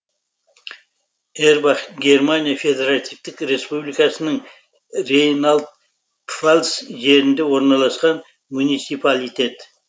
эрбах германия федеративтік республикасының рейнланд пфальц жерінде орналасқан муниципалитет